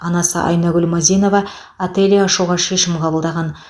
анасы айнагүл мазинова ателье ашуға шешім қабылдаған